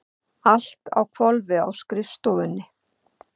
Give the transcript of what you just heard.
Allt á hvolfi á skrifstofunni?